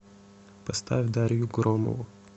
поставь дарью громову